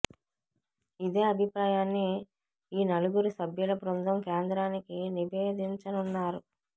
ఇదే అభిప్రాయాన్ని ఈ నలుగురు సభ్యుల బృందం కేంద్రానికి నివేదించనున్నారు